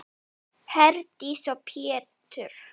Herdís og Pétur.